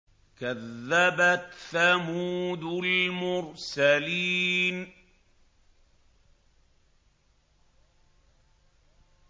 كَذَّبَتْ ثَمُودُ الْمُرْسَلِينَ